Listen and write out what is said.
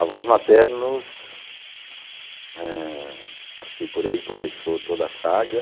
Avós maternos, eh... Acho que por aí começou toda a saga.